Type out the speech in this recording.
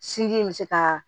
Sinji in bɛ se kaa